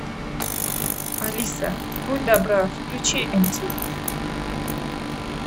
алиса будь добра включи мтв